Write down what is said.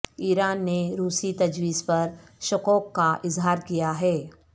ایران نے روسی تجویز پر شکوک کا اظہار کیا ہے